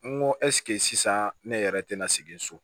N go sisan ne yɛrɛ te na sigi so